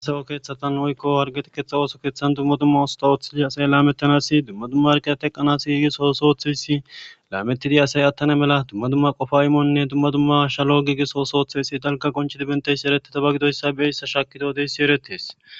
Asawo keeththatan woykko hargeti keeththa ooso keeththan dumma dumma usta ooththidi asay laametanasi dumma dumma arqiya teqqanas igisosoothesi laametidi asay attana mela dumma dumma qofa imonne dumma dumma shalo gigis oosooththesi dalga qonchidi benteysi ereteta ba gidoyssa be hissa shakido de7ssi eretees.